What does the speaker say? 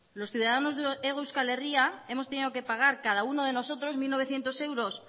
los ciudadanos de hego euskal herria hemos tenido que pagar cada uno de nosotros mil novecientos euros